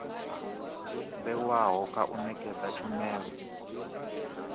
vhewaho kha u nekedza tshumelo